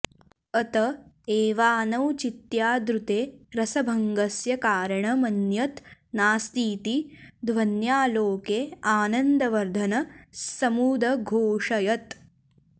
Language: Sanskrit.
अत एवानौचित्यादृते रसभङ्गस्य कारण मन्यत् नास्तीति ध्वन्यालोके आनन्दवर्धन स्समुदघोषयत्